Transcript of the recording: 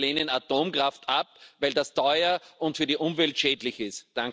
Wir lehnen Atomkraft ab, weil das teuer und für die Umwelt schädlich ist.